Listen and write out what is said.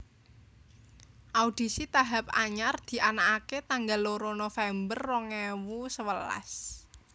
Audisi tahap anyar dianakaké tanggal loro November rong ewu sewelas